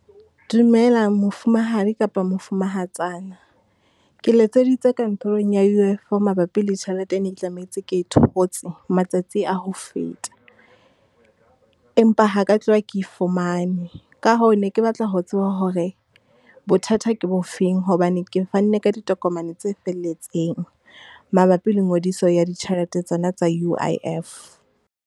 Dumela mofumahadi kapa mofumahatsana, ke letseditse kantorong U_I_F mabapi le tjhelete e ne ke tlametse ke e thotse matsatsi a ho feta. Empa ha ke ya tloha ke e fumane, ka hoo ne ke batla ho tseba hore bothata ke bofeng hobane, ke fanne ka ditokomane tse felletseng mabapi le ngodiso ya ditjhelete tsona tsa U_I_F?